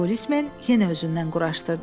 Polismen yenə özündən quraşdırdı.